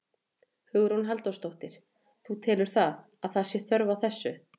Hugrún Halldórsdóttir: Þú telur að, að það sé þörf á þessu?